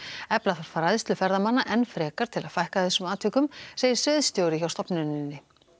efla þarf fræðslu ferðamanna enn frekar til að fækka þessum atvikum segir sviðsstjóri hjá stofnuninni